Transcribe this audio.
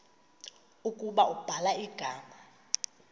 ukuba ubhala igama